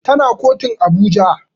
Tana kotun Abuja